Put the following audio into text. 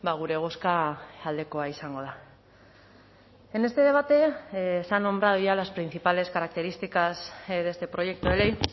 gure bozka aldekoa izango da en este debate se han nombrado ya las principales características de este proyecto de ley